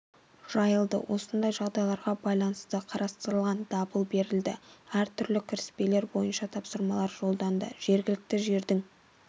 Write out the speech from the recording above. жайылды осындай жағдайға байланысты қарастырылған дабыл берілді әр түрлі кіріспелер бойынша тапсырмалар жолданды жергілікті жердің